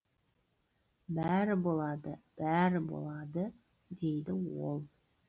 бәрі болады бәрі болады дейді ол